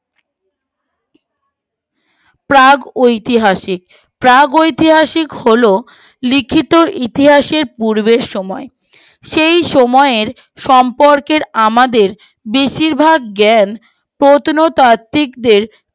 প্রাগ ঐতিহাসিক প্রাগ ঐতিহাসিক হল লিখিত ইতিহাসের পূর্বের সময় সেই সময়ের সম্পর্কের আমাদের বেশিরভাগ জ্ঞান প্রত্ন তাত্ত্বিকদের